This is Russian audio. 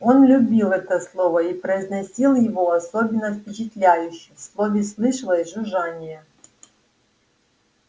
он любил это слово и произносил его особенно впечатляюще в слове слышалось жужжание